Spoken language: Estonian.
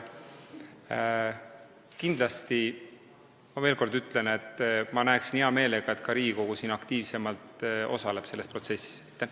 Kindlasti, ma veel kord ütlen, näeksin ma hea meelega, et ka Riigikogu aktiivsemalt selles protsessis osaleks.